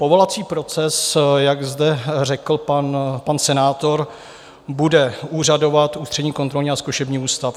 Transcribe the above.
Povolovací proces, jak zde řekl pan senátor, bude úřadovat Ústřední kontrolní a zkušební ústav.